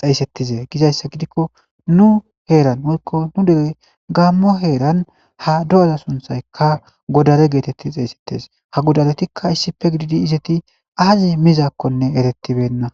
xeysetize gizayssa gidiko nu heeran woyko nu dere gamo heeran ha do'aza sunthay haa godare geeteti xeysetees ha godaretika issipe gidid izeti aazi mizakonne eretibena.